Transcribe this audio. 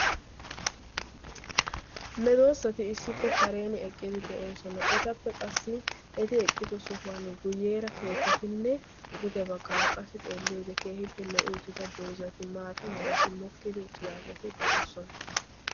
Medoossati issippe kareen eqqidi de'oosona. Etappe qassi eti eqqido sohuwan guyyeera keettatinne duge baggaara qassi keehippe lo''i uttida dozzati maata merati mokkidi uttidaageeti de'oosona.